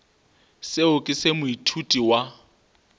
seo ke se moithuti wa